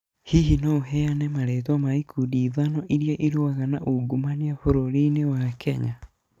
Hihi no ũheane marĩĩtwa ma ikundi ithano iria irũaga na ungumania bũrũri-inĩ wa Kenya?